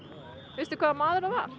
veistu hvaða maður það var